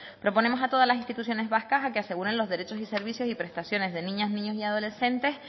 proponemos a todas las instituciones vascas a que aseguren los derechos y servicios y prestaciones de niñas niños y adolescentes